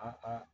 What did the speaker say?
A ka